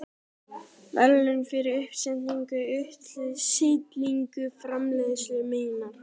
verðlaun fyrir uppsetningu og útstillingu framleiðslu minnar.